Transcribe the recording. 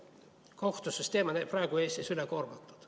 Kohtusüsteem on Eestis praegu ülekoormatud.